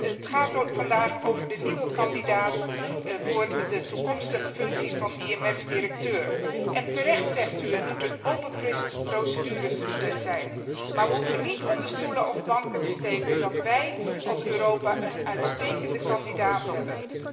Het gaat vandaag over de nieuwe kandidaat voor de toekomstige functie van IMF directeur. U zegt terecht dat het een open procedure moet zijn, maar we hoeven niet onder stoelen of banken te steken dat wij, Europa, een uitstekende kandidaat hebben.